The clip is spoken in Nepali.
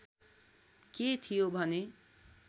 के थियो भने